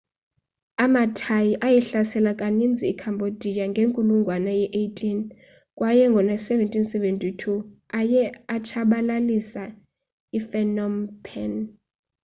amathai ayihlasela kaninzi icambodia ngenkulungwane ye18 kway ngo-1772 aye atshabalilisa iphnom phen